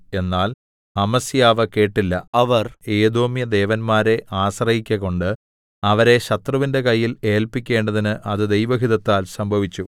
എന്നാൽ അമസ്യാവ് കേട്ടില്ല അവർ ഏദോമ്യദേവന്മാരെ ആശ്രയിക്ക കൊണ്ട് അവരെ ശത്രുവിന്റെ കയ്യിൽ ഏല്പിക്കേണ്ടതിന് അത് ദൈവഹിതത്താൽ സംഭവിച്ചു